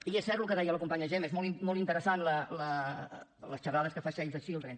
i és cert el que deia la companya gemma són molt interessants les xerrades que fan save the children